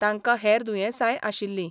तांका हेर दुयेंसाय आशिल्ली.